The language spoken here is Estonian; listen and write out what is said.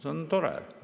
See on tore.